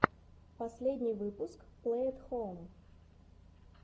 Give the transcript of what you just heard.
последний выпуск плэй эт хоум